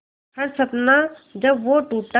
हर सपना जब वो टूटा